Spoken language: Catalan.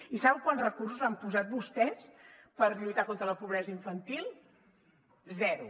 i saben quants recursos han posat vostès per lluitar contra la pobresa infantil zero